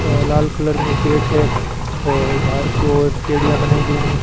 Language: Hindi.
अ लाल कलर में गेट हैं और बाहर की ओर पेढ़िया बनाई गई है।